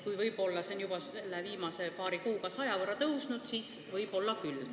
Kui see on vaid paari viimase kuuga saja võrra kasvanud, siis olgu pealegi.